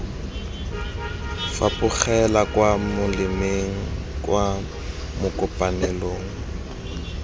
fapogela kwa molemeng kwa makopanelong